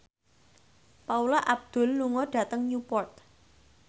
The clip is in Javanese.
Paula Abdul lunga dhateng Newport